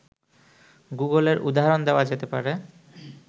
গুগলের উদাহরণ দেওয়া যেতে পারে